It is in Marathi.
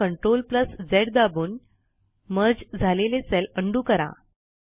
आता CTRL झ दाबून मर्ज झालेले सेल उंडो करा